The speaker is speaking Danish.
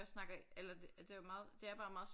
Jeg snakker eller det det var meget det er bare meget